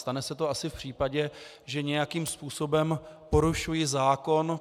Stane se to asi v případě, že nějakým způsobem porušuji zákon.